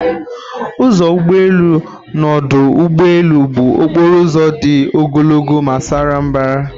Ụzọ ụgbọelu n'ọdụ ụgbọelu bụ okporo ụzọ dị ogologo ma sara mbara.